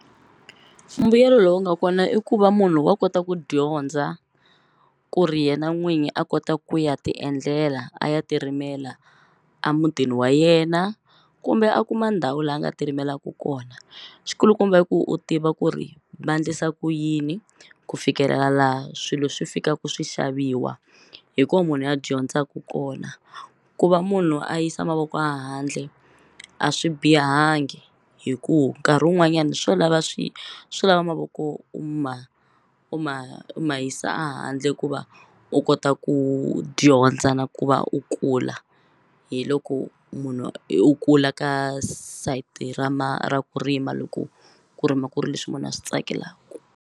Mbuyelo lowu nga kona i ku va munhu wa kota ku dyondza ku ri yena n'winyi a kota ku ya ti endlela a ya ti rimela a mutini wa yena kumbe a kuma ndhawu la a nga ti rimelaku kona xi kulukumba i ku u tiva ku ri va ndlisa ku yini ku fikelela laha swilo swi fikaku swi xaviwa hi ko munhu a dyondzaku kona ku va munhu a yisa mavoko a handle a swi bihangi hi ku nkarhi wun'wanyani swo lava swi swo lava mavoko u ma u ma mayisa a handle ku va u kota ku dyondza na ku va u kula hi loko munhu u kula ka sayiti ra ra ku rima loko ku rima ku ri leswi munhu a swi tsakelaku.